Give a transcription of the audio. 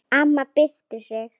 Amma byrsti sig.